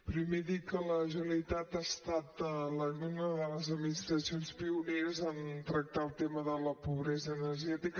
primer dir que la generalitat ha estat una de les administracions pioneres a tractar el tema de la pobresa energètica